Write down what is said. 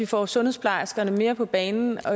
få sundhedsplejerskerne mere på banen for